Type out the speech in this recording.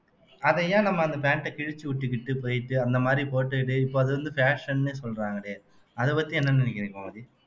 அதை ஏன் நம்ம அந்த pant அ கிழிச்சு விட்டுக்கிட்டு போயிட்டு அந்த மாதிரி போட்டுட்டு இப்போ அது வந்து fashion ன்னு சொல்றாங்களே அதை பத்தி என்ன நினைக்கிறீங்க கோமதி